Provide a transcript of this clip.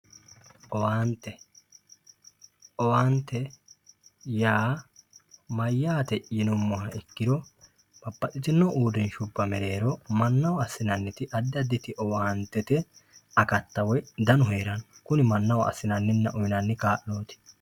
Owaante owaanye yaa mayaate yinumoha ikiro babaxitino uurinsha mereero mannaho asinaniti adi aditi owaantete akatta woyi danu heerano kuni manaho asinani kaaloti